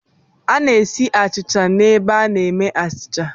A na-esi achịcha n'ebe a na-eme achịcha.